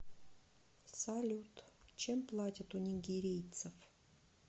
салют чем платят у нигерийцев